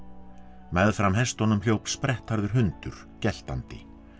meðfram hestunum hljóp sprettharður hundur geltandi